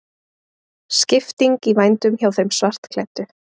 Skipting í vændum hjá þeim svartklæddu.